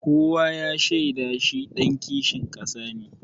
Kowa ya shaida shi ɗan kishin ƙasa ne.